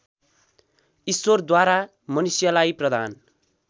ईश्वरद्वारा मनुष्यलाई प्रदान